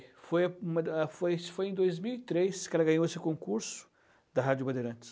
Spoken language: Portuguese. Foi foi, acho que foi em dois mil e três que ela ganhou esse concurso da Rádio Bandeirantes.